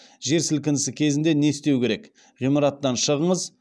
жер сілкінісі кезінде не істеу керек ғимараттан шығыңыз